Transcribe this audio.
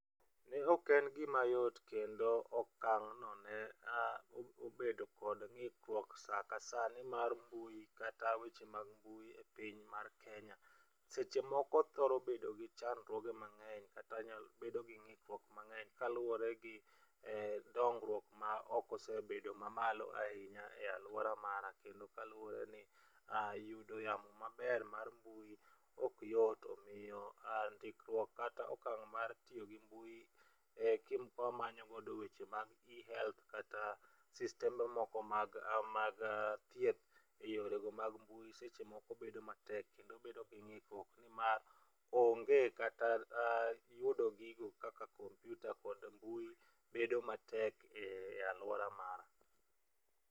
Ne ok en gima yot kendo okang'no ne obedo kod ng'ikruok e saa ka saa nimar mbui kata weche mag mbui e piny mar Kenya, seche moko thoro bedo gi chandruoge mang'eny, kata bedo gi ng'ikruok mang'eny kaluwore gi dongruok ma ok osebedo ma malo ahinya e aluora mara. Kendo kaluwore ni yudo yamo maber mar mbui ok yot. Omiyo ndikruok kata okang' mar tiyo gi mbui ka wamanyo godo weche mag eHealth kata sistembe moko mag thieth eyorego mag mbui seche moko bedo matek kendo bedo gi ng'ikruok nimar onge kata yudo gigo kaka kompiuta kod mbui bedo matek e aluora mara.